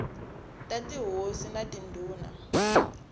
ta tihosi na tindhuna r